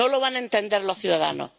No lo van a entender los ciudadanos.